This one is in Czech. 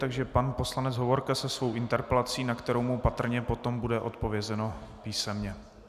Takže pan poslanec Hovorka se svou interpelací, na kterou mu patrně potom bude odpovězeno písemně.